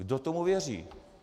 Kdo tomu věří?